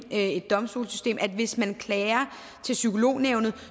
et domstolssystem hvis man klager til psykolognævnet